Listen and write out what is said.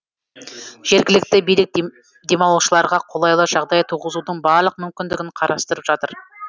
жергілікті билік демалушыларға қолайлы жағдай туғызудың барлық мүмкіндігін қарастырып жатыр